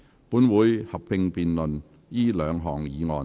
本會會合併辯論這兩項議案。